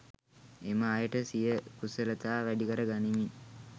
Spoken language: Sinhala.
එම අයට සිය කුසලතා වැඩිකර ගනිමින්